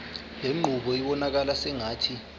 lenqubo ibonakala sengathi